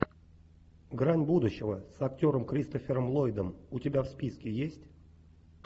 грань будущего с актером кристофером ллойдом у тебя в списке есть